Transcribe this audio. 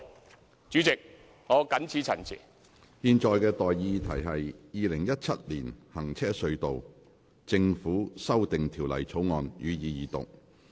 我現在向各位提出的待議議題是：《2017年行車隧道條例草案》，予以二讀。